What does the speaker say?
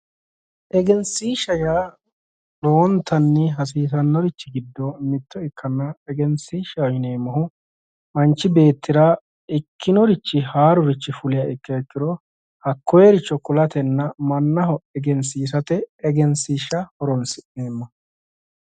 Egenshiishsha yaa lowontanni hasiissannorichi giddo mitto ikkanna, egenshiishshaho yineemmohu manchu beettira ikkinorichi haaruri fuliha ikkiro hakkoyeericho kulatenna mannaho egensiisate egensiishsha horonsi'neemmo.